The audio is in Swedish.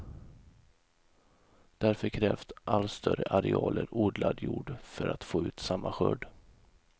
Därför krävs allt större arealer odlad jord för att få ut samma skörd.